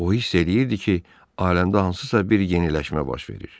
O hiss eləyirdi ki, aləmdə hansısa bir yeniləşmə baş verir.